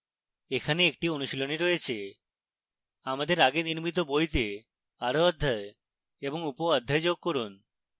এখানে একটি অনুশীলনী রয়েছে